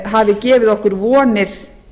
hafi gefið okkur vonir